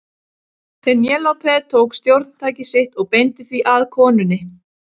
Penélope tók stjórntækið sitt og beindi því að konunni.